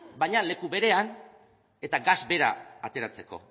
baina leku berean eta gas bera ateratzeko